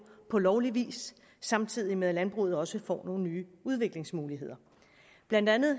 på lovlig vis samtidig med at landbruget også får nogle nye udviklingsmuligheder blandt andet